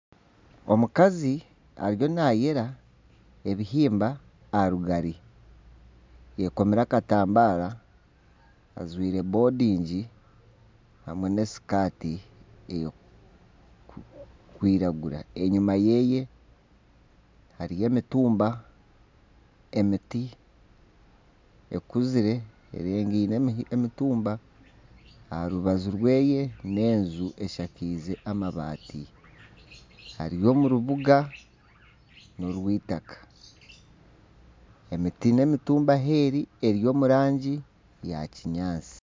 Omukazi ariyo nayera ebihimba aha rugari ayekomire akatambare ajwaire bondingi hamwe n'esikaati erikwiragura enyuma ye hariyo emitumba, emiti ekuzire erengiine emitumba aha rubaju rwe n'enju eshakize amabaati ari omu mbuga y'eitaaka, emiti n'emitumba aheeri eri omu rangi ya kinyaatsi.